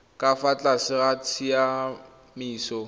ka fa tlase ga tsamaiso